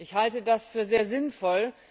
Ich halte das für sehr sinnvoll.